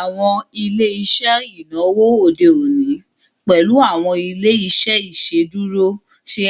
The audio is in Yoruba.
Awọn ile-iṣẹ inawo ode oni, pẹlu awọn ile-iṣẹ iṣeduro, ṣe